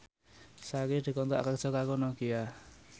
Sari dikontrak kerja karo Nokia